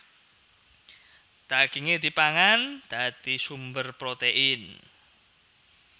Dagingé dipangan dadi sumber protein